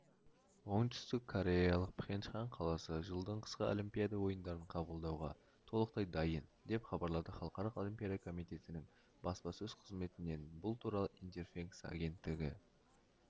оңтүстіккореялық пхенчхан қаласы жылдың қысқы олимпида ойындарын қабылдауға толықтай дайын деп хабарлады халықаралық олимпиада комитетінің баспасөз қызметінен бұл туралы интерфакс агенттігі